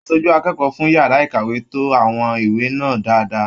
Aṣojú akẹ́kọ̀ọ́ fún yàrá ìkàwé to àwọn ìwé náà dáadáa.